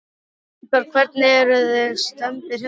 Strákar, hvernig, eruð þið stemmdir hérna?